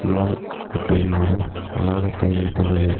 சியால்கோட்டில் ஒரு வளாகத்தை வைத்துள்ளது